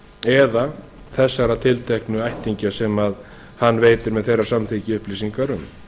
eða þessara tilteknu ættingja sem hann veitir með þeirra samþykki upplýsingar um